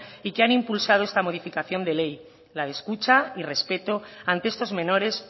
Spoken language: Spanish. y que han impulsado esta modificación de ley la de escucha y respeto ante estos menores